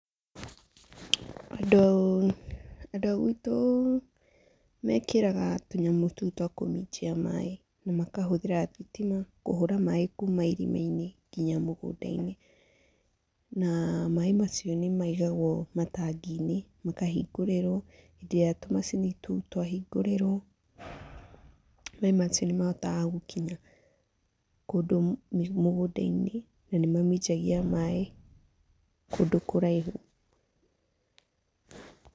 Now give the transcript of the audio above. Andũ, andũ a gwitũ mekĩraga tũnyamũ tũu twa kũminjia maĩ na makahũthĩra thitima kũhũra maĩ kuma irima-inĩ nginya mũgũnda-inĩ na maĩ macio nĩ maigagwo matangi-inĩ, makahingũrĩrwo hĩndĩ ĩrĩa tũmacini tũu twahingũrĩrwo, maĩ macio nĩ mahotaga gũkinya kũndũ mũgũnda-inĩ na nĩ maminjagia maĩ kũndũ kũraihu.